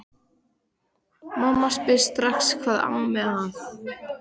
Mamma spyr strax hvað ami að.